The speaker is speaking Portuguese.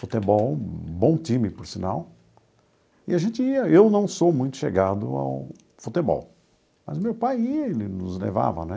Futebol, bom time, por sinal, e a gente ia, eu não sou muito chegado ao futebol, mas o meu pai ia, ele nos levava, né?